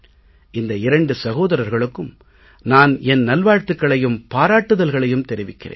இந்த இரண்டு சகோதரர்களுக்கும் நான் என் நல்வாழ்த்துக்களையும் பாராட்டுதல்களையும் தெரிவிக்கிறேன்